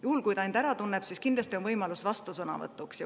Juhul, kui ta end ära tundis, on tal võimalus vastusõnavõtuks.